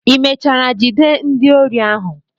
Ị mechara jide ndị ori ahụ?